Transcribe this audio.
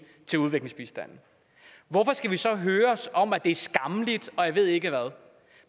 til udviklingsbistand hvorfor skal vi så høres om at det er skammeligt og jeg ved ikke hvad